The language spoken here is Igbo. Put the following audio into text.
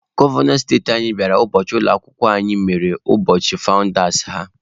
Gọvanọ steeti anyị bịara ụbọchị ụlọ akwụkwọ anyị mere ụbọchị fawụndas ha.